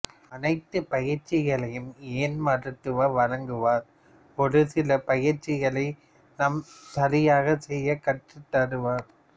அனைத்து பயிற்சிகளையும் இயன்முறைமருத்துவர் வழங்குவார் ஒருசில பயிற்சிகளை நாம் சரியாக செய்ய கற்றுத்தருவார்